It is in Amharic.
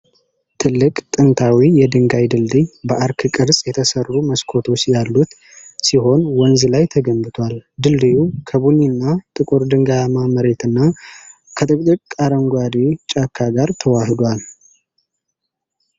ትልቅ፣ ጥንታዊ የድንጋይ ድልድይ በአርክ ቅርጽ የተሰሩ መስኮቶች ያሉት ሲሆን ወንዝ ላይ ተገንብቷል። ድልድዩ ከቡኒና ጥቁር ድንጋያማ መሬትና ከጥቅጥቅ አረንጓዴ ጫካ ጋር ተዋህዷል።